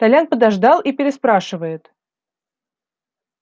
толян подождал и переспрашивает